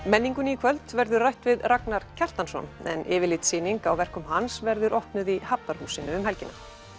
menningunni í kvöld verður rætt við Ragnar Kjartansson en yfirlitssýning á verkum hans verður opnuð í Hafnarhúsinu um helgina